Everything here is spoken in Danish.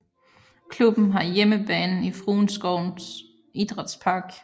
Klubben har hjemmebane i Frueskovens Idrætspark